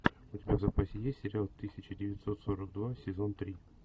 у тебя в запасе есть сериал тысяча девятьсот сорок два сезон три